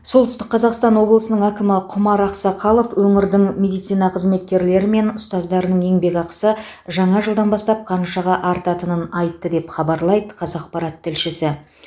солтүстік қазақстан облысының әкімі құмар ақсақалов өңірдің медицина қызметкерлері мен ұстаздарының еңбекақысы жаңа жылдан бастап қаншаға артатынын айтты деп хабарлайды қазақпарат тілшісі